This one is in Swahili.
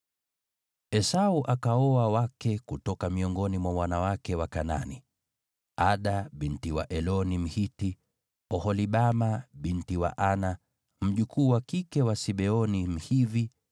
Esau akaoa wake kutoka miongoni mwa wanawake wa Kanaani: Ada binti wa Eloni Mhiti, Oholibama binti wa Ana, mjukuu wa kike wa Sibeoni Mhivi,